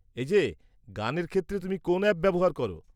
এই যে, গানের ক্ষেত্রে তুমি কোন অ্যাপ ব্যবহার করো?